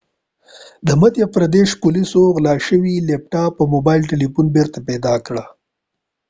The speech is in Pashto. د مدهیا پردیش پولیسو غلا شوی لیپتاپ او موبایل تلیفون بیرته پیدا کړل